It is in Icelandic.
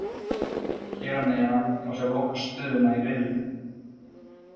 Hér að neðan má sjá lokastöðuna í riðlunum.